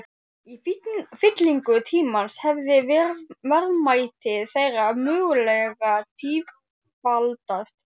Í fyllingu tímans hefði verðmæti þeirra mögulega tífaldast.